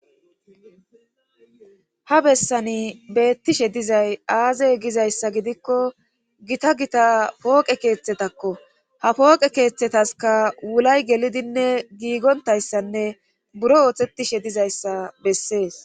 ha bessani beettishe dizay aaze gizayssa gidikko gita gita pooqe keeththetakko ha pooqe keeththetaska wulay gelidinne giigontayssanne buro ooththetishe dizayssa bessees